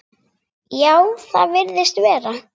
Já, það virðist vera.